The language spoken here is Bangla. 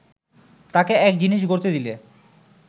তাকে এক জিনিস গড়তে দিলে